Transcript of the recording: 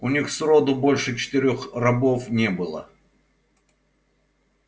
у них сроду больше четырёх рабов не было